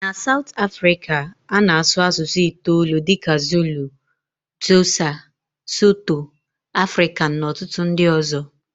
Na Saụt Afrịka a na-asụ asụsụ itoolu dịka Zulu, Xhosa, sotho, Afrikan na ọtụtụ ndị ọzọ.